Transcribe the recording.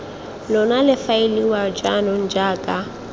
lona le faeliwa jaanong jaaka